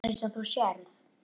Eins og þú sérð.